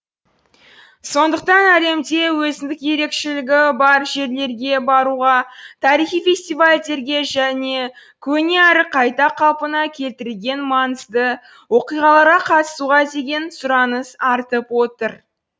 сондықтан әлемде өзіндік ерекшелігі бар жерлерге баруға тарихи фестивальдерге және көне әрі қайта қалпына келтірілген маңызды оқиғаларға қатысуға деген сұраныс артып отыр